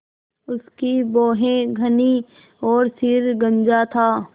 उसकी भौहें घनी और सिर गंजा था